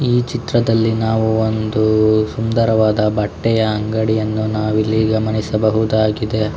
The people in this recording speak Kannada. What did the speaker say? ಈ ಚಿತ್ರದಲ್ಲಿ ನಾವು ಒಂದು ಸುಂದರವಾದ ಬಟ್ಟೆಯ ಅಂಗಡಿಯನ್ನು ನಾವಿಲ್ಲಿ ಗಮನಿಸಬಹುದಾಗಿದೆ.